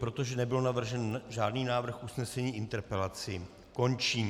Protože nebyl navržen žádný návrh usnesení, interpelaci končím.